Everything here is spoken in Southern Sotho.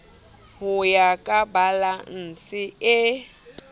ho ya ka balanse e